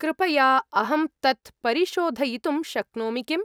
कृपया अहं तत् परिशोधयितुं शक्नोमि किम्?